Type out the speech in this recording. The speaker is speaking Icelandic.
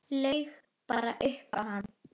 Laug bara upp á hann.